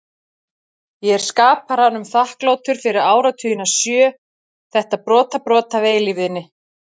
Ég er skaparanum þakklátur fyrir áratugina sjö, þetta brotabrot af eilífðinni.